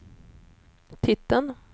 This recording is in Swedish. titeln